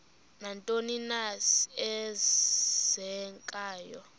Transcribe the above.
nantoni na eenzekayo